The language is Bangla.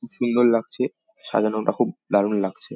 খুব সুন্দর লাগছে সাজানো টা খুব দারুন লাগছে ।